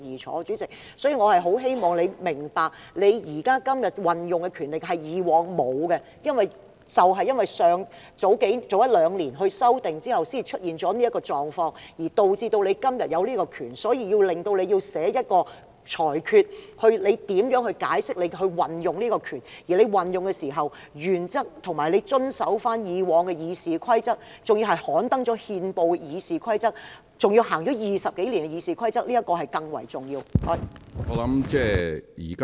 所以，主席，我很希望你明白，你今天所運用的權力，是以往沒有的，而正因為早一兩年修訂後才出現這種狀況，導致你今天擁有這種權力，致令你今天要作出裁決，解釋如何運用這種權力，而運用時的原則，不但需要遵守以往的《議事規則》，還要按照已刊登憲報的《議事規則》、已經運作20多年的《議事規則》來行事，這點是更為重要的。